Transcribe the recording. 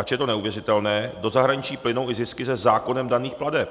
Ač je to neuvěřitelné, do zahraničí plynou i zisky ze zákonem daných plateb,